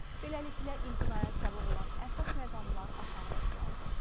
Beləliklə, imtinaya səbəb olan əsas məqamlar aşağıdakılardır: